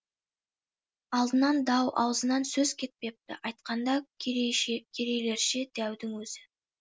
алдынан дау аузынан сөз кетпепті айтқанда керейлерше дәудің өзі